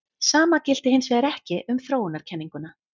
Sama gilti hins vegar ekki um þróunarkenninguna.